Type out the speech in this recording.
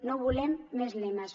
no volem més lemes